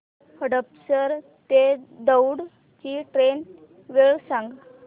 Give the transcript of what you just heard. हडपसर ते दौंड ची ट्रेन वेळ सांग